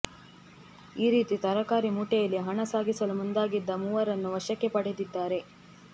ಈ ರೀತಿ ತರಕಾರಿ ಮೂಟೆಯಲ್ಲಿ ಹಣ ಸಾಗಿಸಲು ಮುಂದಾಗಿದ್ದ ಮೂವರನ್ನು ವಶಕ್ಕೆ ಪಡೆದಿದ್ದಾರೆ